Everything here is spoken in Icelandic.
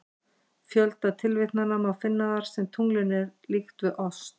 Fjölda tilvitnana má finna þar sem tunglinu er líkt við ost.